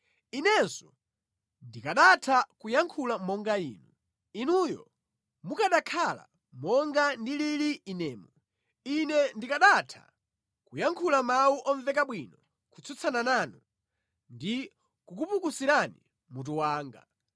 Inenso ndikanatha kuyankhula monga inu, inuyo mukanakhala monga ndilili inemu; Ine ndikanatha kuyankhula mawu omveka bwino kutsutsana nanu ndi kukupukusirani mutu wanga.